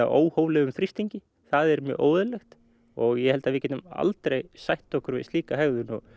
óhóflegum þrýstingi það er mjög óeðlilegt og ég held að við getum aldrei sætt okkur við slíka hegðun og